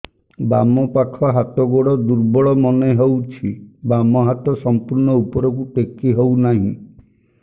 ବାମ ପାଖ ହାତ ଗୋଡ ଦୁର୍ବଳ ମନେ ହଉଛି ବାମ ହାତ ସମ୍ପୂର୍ଣ ଉପରକୁ ଟେକି ହଉ ନାହିଁ